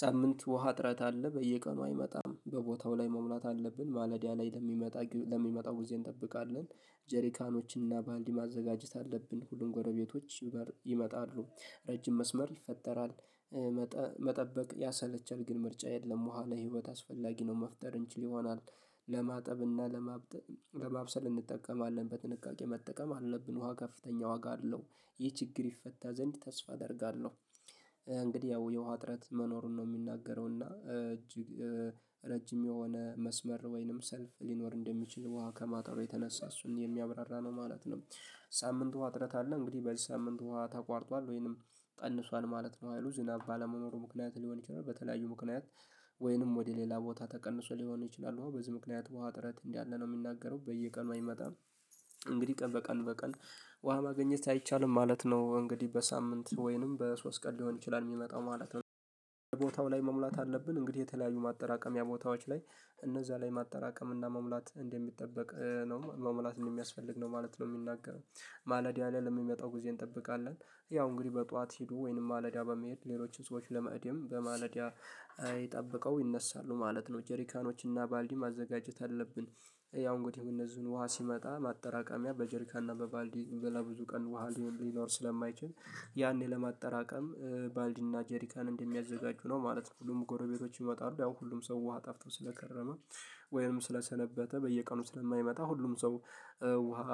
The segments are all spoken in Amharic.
ሳምንት ውሃ እጥረት አለ በየቀኑ አይመጣም። በቦታው ላይ መሙላት አለብን። ማለዳ ላይ ለሚመጣ ለሚመጣው ጊዜ እንጠብቃለን። ጀሪካኖች እና ባልዲ ማዘጋጀት አለብን። ሁሉም ጎረቤቶች ይመጣሉ። ረጅም መስመር ይፈጠራል። መጠበቅ ያሰለቻል፤ ግን ምርጫ የለም። ውሃ ለህይወት አስፈላጊ ነው። መፍጠር እንችል ይሆናል። ለማጠብና ለማብጠ ለማብሰል እንጠቀማለን። በጥንቃቄ መጠቀም አለብን። ውሃ ከፍተኛ ዋጋ አለው። ይህ ችግር ይፈታ ዘንድ ተስፋ አደርጋለሁ። እንግዲህ ያው የውሃ እጥረት መኖሩን ነው የሚናገረው፤ እና እጅግ ረጅም የሆነ መስመር ወይንም ሰልፍ ሊኖር እንደሚችል ውሃ ከማጠሩ የተነሳ እሱን የሚያብራራ ነው ማለት ነው። ሳምንት ውሃ እጥረት አለ እንግዲህ በዚህ ሳምንት ውሃ ተቋርጧል ወይንም ቀንሷል ማለት ነው ህይሉ ዝናብ ባለመኖሩ ምክንያት ሊሆን ይችላል በተለያዩ ምክንያት ወይንም ወደ ሌላ ቦታ ተቀንሶ ሊሆን ይችላል ውሃው በዚህ ምክንያት ውሃ እጥረት እንዳለ ነው የሚናገረው። በየቀኑ አይመጣም እንግዲህ ቀን በቀን በቀን ውሃ ማግኘት አይቻልም ማለት ነው። እንግዲህ በሳምንት ወይንም በሶስት ቀን ሊሆን ይችላል የሚመጣው ማለት። በቦታው ላይ መሙላት አለብን እንግዲህ የተለያዩ ማጠራቀሚያ ቦታዎች ላይ እነዛ ላይ ማጠራቀም እና መሙላት እንደሚጠበቅ ነው መሙላት እንደሚያስፈልግ ነው ማለት ነው የሚናገረው። ማለዳ ላይ ለሚመጣው ጊዜ እንጠብቃለን። ያው እንግዲህ በጧት ሂዱ ወይንም ማለዳ በመሄድ ሌሎችን ሰዎች ለመእደም በማለዳ ጠብቀው ይነሳሉ ማለት ነው። ጄሪካኖች እና ባልዲ ማዘጋጀት አለብን። ያው እንግዲህ እነዚህን ውሃ ሲመጣ ማጠራቀሚያ በጀርካንና በባልዲ በላ ብዙ ቀን ውሃ ሊኖር ስለማይችል ያኔ ለማጠራቀም ባልዲና ጄሪካን እንደሚያዘጋጁ ነው ማለት ነው። ሁሉም ጎረቤቶች ይመጣሉ። ያው ሁሉም ሰው ውሃ ጠፍቶ ስለከረመ ወይም ስለሰነበተ በየቀኑ ስለማይመጣ ሁሉም ሰው ውሃ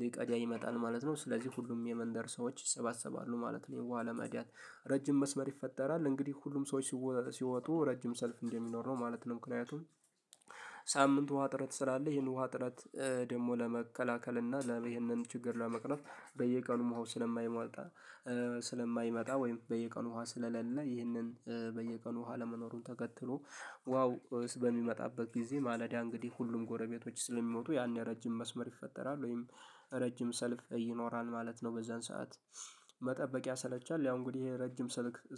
ሊቀዳ ይመጣል ማለት ነው። ስለዚህ ሁሉም የመንደር ሰዎች ይሰባሰባሉ ማለት ነው ይሄን ውሃ ለመእዳት። ረጅም መስመር ይፈጠራል። እንግዲህ ሁሉም ሰዎች ሲወጡ ረጅም ሰልፍ እንደሚኖር ነው ማለት ነው። ምክንያቱም ሳምንቱ ውሃ እጥረት ስላለ ይሄን ውሃ እጥረት ደግሞ ለመከላከል እና ለ ይሄንን ችግር ለመቅረፍ በየቀኑም ውሃው ስለማይመጣ ስለማይመጣ ወይም በየቀኑ ውሃ ስለሌለ ይህንን በየቀኑ ውሃ አለመኖሩን ተከትሎ ውሃው እስ በሚመጣበት ጊዜ ማለዳ እንግዲህ ሁሉም ጎረቤቶች ስለሚወጡ ያኔ ረጅም መስመር ይፈጠራል ወይም ረጅም ሰልፍ እኖራል ማለት ነው በዛን ሰዓት። መጠበቅ ያሰለቻል ያው እንግዲህ ይሄ ረጅም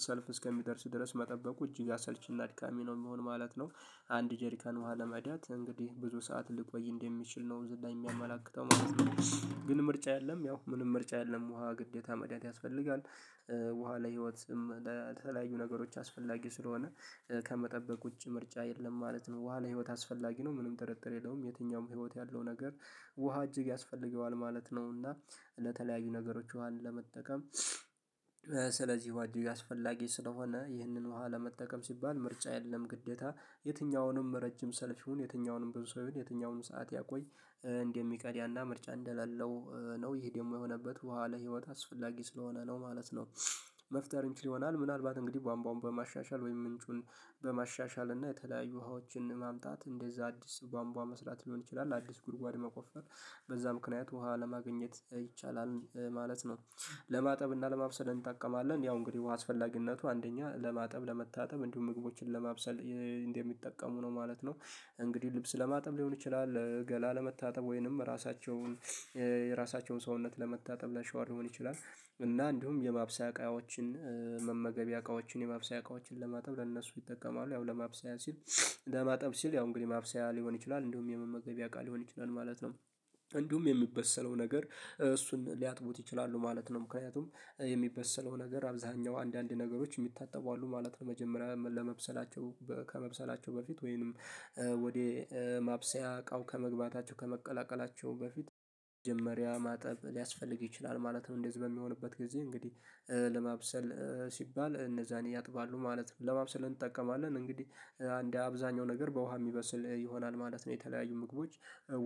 ሰልፍ እስከሚደርስ ድረስ መጠበቁ እጅግ አሰልቺና አድካሚ ነው የሚሆን ማለት ነው። አንድ ጄሪካን ውሃ ለመእዳት እንግዲህ ብዙ ሰዓት ልቆይ እንደምችል ነው እዚህ ላይ የሚያመላክተው ማለት ነው። ግን ምርጫ የለም ያው ምንም ምርጫ የለም ውሃ ግዴታ መቅዳት ያስፈልጋል። ውሃ ለህይወትም ለተለያዩ ነገሮች አስፈላጊ ስለሆነ ከመጠበቅ ውጪ ምርጫ የለም ማለት ነው። ውሃ ለህይወት አስፈላጊ ነው ምንም ጥርጥር የለውም። የትኛውም ህይወት ያለው ነገር ውሃ እጅግ ያስፈልገዋል ማለት ነው፤ እና ለተለያዩ ነገሮች ውሃን ለመጠቀም ስለዚህ ውሃ እጅግ አስፈላጊ ስለሆነ ይህንን ውሃ ለመጠቀም ሲባል ምርጫ የለም ግዴታ የትኛውንም ረጅም ሰልፍ ይሁን የትኛውንም ብዙ ሰው ይሁን የትኛውንም ሰዓት ያቆይ እንደሚቀድያና ምርጫ እንደሌለው ነው ይሄ ደግሞ የሆነበት ውሃ ለህይወት አስፈላጊ ስለሆነ ነው ማለት ነው። መፍጠር እንችል ይሆናል ምናልባት እንግዲህ ቧምቧውን በማሻሻል ወይም ምንጩን በማሻሻል እና የተለያዩ ውሃዎችን ማምጣት እንደዛ አዲስ ባንቧ መስራት ሊሆን ይችላል። አዲስ ጉድጓድ መቆፈር በዛ ምክንያት ውሃ ለማግኘት ይቻላል ማለት ነው። ለማጠብ እና ለማብሰድ እንጠቀማለን ያው እንግዲህ አስፈላጊነቱ አንደኛ ለማጠብ ለመታጠብ እንዲሁም ምግቦችን ለማብሰል እንደሚጠቀሙ ነው ማለት ነው። እንግዲህ ልብስ ለማጠብ ሊሆን ይችላል ገላ ለመታጠብ ወይንም ራሳቸውን የራሳቸውን ሰውነት ለመታጠብ ላሻውር ሊሆን ይችላል እና እንዲሁም የማብሰያ እቃዎችን መመገቢያ እቃዎችን የማብሰያ እቃዎችን ለማጠብ ለነሱ ይጠቀማሉ። ያው ለማብሰያ ሲል ለማጠብ ሲል ያው እንግዲህ ማብሰያ ሊሆን ይችላል እንዲሁም የመመገቢያ እቃ ሊሆን ይችላል ማለት ነው። እንዲሁም የሚበሰለው ነገር እሱን ሊያጥቡት ይችላሉ ማለት ነው። ምክንያቱም የሚበሰለው ነገር አብዛሀኛው አንዳንድ ነገሮች የሚታጠቡ አሉ ማለት ነው። መጀመሪያ ለመብሰላቸው ከመብሰላቸው በፊት ወይንም ወደ ማብሰያ እቃው ከመግባታቸው ከመቀላቀላቸው በፊት መጀመሪያ ማጠብ ሊያስፈልግ ይችላል ማለት ነው። እንደዚህ በሚሆንበት ጊዜ እንግዲህ ለማብሰል ሲባል እነዛን ያጥባሉ ማለት ነው። ለማብሰለ ምን እንጠቀማለን እንግዲህ አንድ አብዛኛው ነገር በውሃ የሚበስል ይሆናል ማለት ነው። የተለያዩ ምግቦች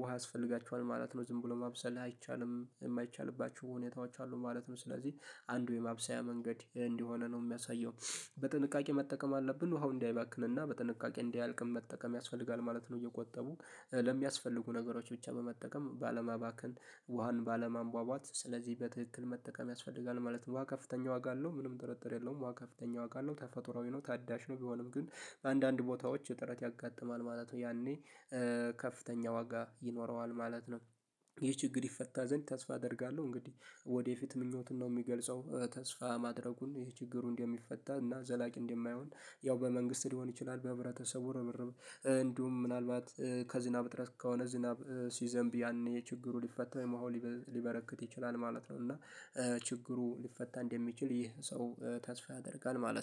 ውሃ ያስፈልጋቸዋል ማለት ነው ዝም ብሎ ማብሰል አይቻልም የማይቻልባቸው ሁኔታዎች አሉ ማለት ነው ስለዚህ አንዱ የማብሰያ መንገድ እንደሆነ ነው የሚያሳየው። በጥንቃቄ መጠቀም አለብን ውሃው እንዳይባክንና በጥንቃቄ እንዳያልቅም መጠቀም ያስፈልጋል ማለት ነው እየቆጠቡ ለሚያስፈልጉ ነገሮች ብቻ በመጠቀም ባለማባከን ውሃን ባለማንቧቧት ስለዚህ በትክክል መጠቀም ያስፈልጋል ማለት ነው። ውሃ ከፍተኛ ዋጋ አለው ምንም ጥርጥር የለውም ውሃ ከፍተኛ ውጋ አለው ተፈጥሮአዊ ነው ታዳሽ ነው ቢሆንም ግን አንዳንድ ቦታዎች እጥረት ያጋጥማል ማለት ነው። ያኔ ከፍተኛ ዋጋ ይኖረዋል ማለት ነው። ይህ ችግር ይፈታ ዘንድ ተስፋ አደርጋለሁ። እንግዲህ ወደፊት ምኞትን ነው የሚገልጸው ተስፋ ማድረጉን ይሄ ችግሩ እንደሚፈታ እና ዘላቂ እንደማይሆን ያው በመንግስት ሊሆን ይችላል በሕብረተሰቡ ርበርበ እንዲሁም ምናልባት ከዝናብ ጥረት ከሆነ ዝናብ ሲዘንብ ያኔ የችግሩ ሊፈታ ወይም ውሃው ሊበረክት ይችላል ማለት ነው። እና ችግሩ ሊፈታ እንደሚችል ይህ ሰው ተስፋ ያደርጋል ማለት ነው።